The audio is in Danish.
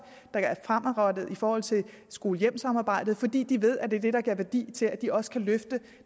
der er fremadrettet i forhold til skole hjem samarbejdet fordi de ved at det er det der giver værdi til at de også kan løfte